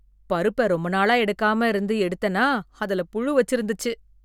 பருப்ப ரொம்ப நாளா எடுக்காம இருந்து எடுத்தேனா அதுல புழு வச்சிருந்துச்சு.